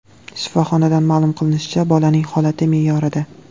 Shifoxonadan ma’lum qilinishicha, bolaning holati me’yorida.